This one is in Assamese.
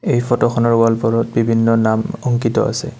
এই ফটোখনৰ ৱালবোৰত বিভিন্ন নাম অংকিত আছে।